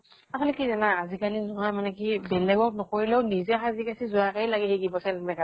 মানে কি জানা, আজিকালি নহয় মানে কি বেলেগক নকৰিলেও নিজে সাজি কাচি যোৱা কে লাগে self makeup তো